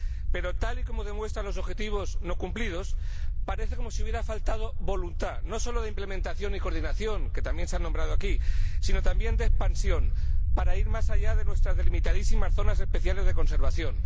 Pero, tal y como demuestran los objetivos no cumplidos, parece como si hubiera faltado voluntad, no solo de implementación y coordinación —que también se han mencionado aquí— sino también de expansión, para ir más allá de nuestras delimitadísimas zonas especiales de conservación.